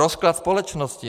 Rozklad společnosti.